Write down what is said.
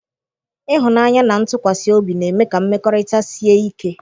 Ịhụnanya na ntụkwasị obi na-eme ka mmekọrịta sie ike.